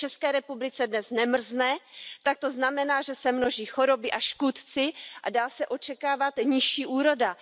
Jestli v ČR dnes nemrzne, tak to znamená, že se množí choroby a škůdci a dá se očekávat nižší úroda.